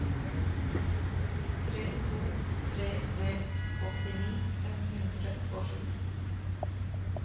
tre to tre tre åttini fem hundre og sju